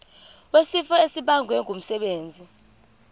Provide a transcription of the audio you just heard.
wesifo esibagwe ngumsebenzi